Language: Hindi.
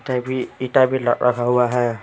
भी इटा भी रखा हुआ है।